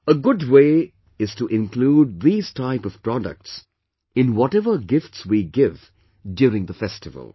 A good way is to include these type of products in whatever gifts we give during the festival